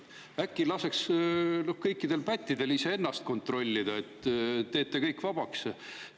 Äkki laseks kõikidel pättidel iseennast kontrollida, teeks kõik vabaks?